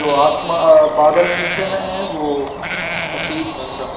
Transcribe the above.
आसमा अह बादल पीछे में है वो सफेद रंग का है।